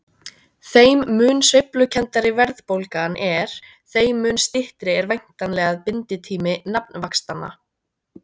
Þeim mun sveiflukenndari verðbólgan er þeim mun styttri er væntanlega binditími nafnvaxtanna.